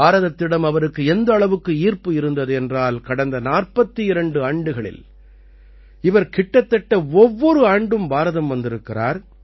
பாரதத்திடம் அவருக்கு எந்த அளவுக்கு ஈர்ப்பு இருந்தது என்றால் கடந்த 42 ஆண்டுகளில் இவர் கிட்டத்தட்ட ஒவ்வொரு ஆண்டும் பாரதம் வந்திருக்கிறார்